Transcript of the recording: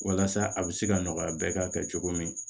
Walasa a bɛ se ka nɔgɔya bɛɛ ka kɛ cogo min